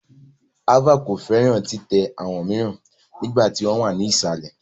Ava ko fẹran titẹ awọn miiran nigba ti wọn wa ni isalẹ